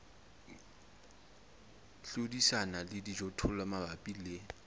hlodisana le dijothollo mabapi le